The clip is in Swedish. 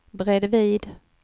bredvid